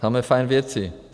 Samé fajn věci.